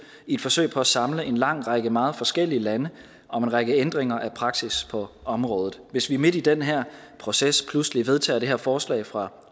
et forsøg på at samle en lang række meget forskellige lande om en række ændringer af praksis på området hvis vi midt i den her proces pludselig vedtager det her forslag fra